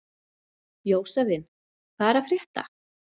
Jósavin, hvað er að frétta?